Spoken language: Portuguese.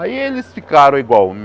Aí eles ficaram igual.